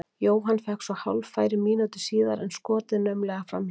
Jóhann fékk svo hálffæri mínútu síðar en skotið naumlega framhjá.